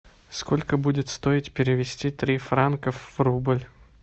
сколько будет стоить перевести три франка в рубль